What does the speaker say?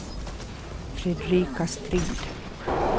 Fredrika Strid